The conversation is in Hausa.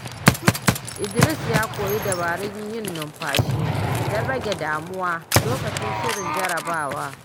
Idris ya koyi dabarun yin numfashi don rage damuwa lokacin shirin jarabawa.